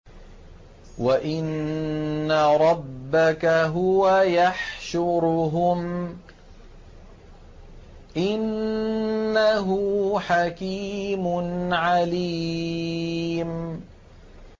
وَإِنَّ رَبَّكَ هُوَ يَحْشُرُهُمْ ۚ إِنَّهُ حَكِيمٌ عَلِيمٌ